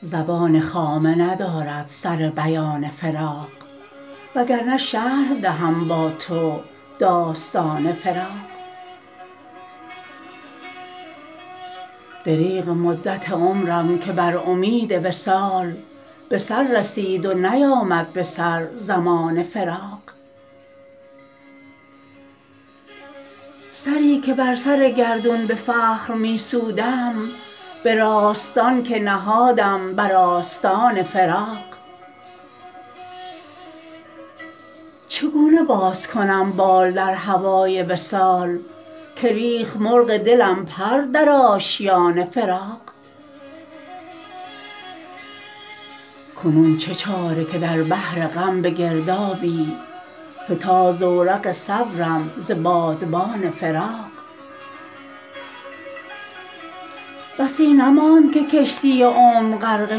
زبان خامه ندارد سر بیان فراق وگرنه شرح دهم با تو داستان فراق دریغ مدت عمرم که بر امید وصال به سر رسید و نیامد به سر زمان فراق سری که بر سر گردون به فخر می سودم به راستان که نهادم بر آستان فراق چگونه باز کنم بال در هوای وصال که ریخت مرغ دلم پر در آشیان فراق کنون چه چاره که در بحر غم به گردابی فتاد زورق صبرم ز بادبان فراق بسی نماند که کشتی عمر غرقه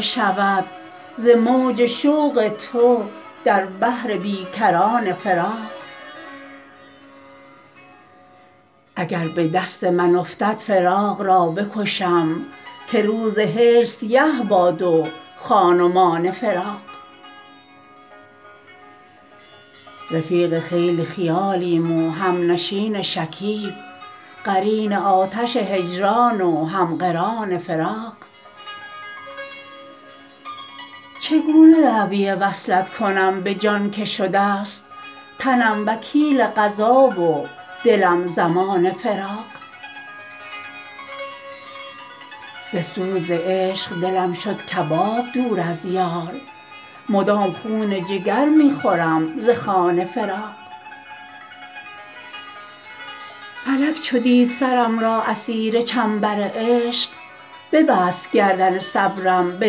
شود ز موج شوق تو در بحر بی کران فراق اگر به دست من افتد فراق را بکشم که روز هجر سیه باد و خان و مان فراق رفیق خیل خیالیم و همنشین شکیب قرین آتش هجران و هم قران فراق چگونه دعوی وصلت کنم به جان که شده ست تنم وکیل قضا و دلم ضمان فراق ز سوز شوق دلم شد کباب دور از یار مدام خون جگر می خورم ز خوان فراق فلک چو دید سرم را اسیر چنبر عشق ببست گردن صبرم به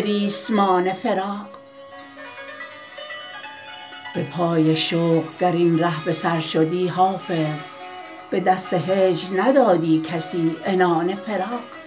ریسمان فراق به پای شوق گر این ره به سر شدی حافظ به دست هجر ندادی کسی عنان فراق